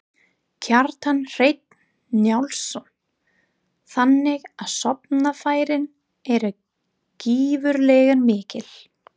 Kjartan Hreinn Njálsson: Þannig að sóknarfærin eru gífurlega mikil?